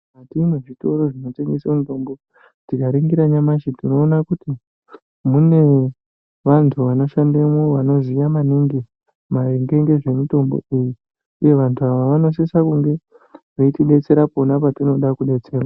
Mukati mwezvitoro zvinotengeswe mutombo tikaringira nyamashi tinoona kuti mune vantu vanoshandemwo vanoziya maningi maringe ngezvemutombo iyi uye vantu ava vanosisa kunge veiti detsera pona patinoda kudetserwa.